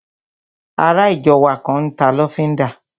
Ará ìjọ wa kan n ta lọ́fíndà